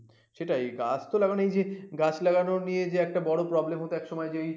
সেটাই গাছ তো লাগানো গাছ লাগানো নিয়ে যে একটা বড় problem হতো এক সময়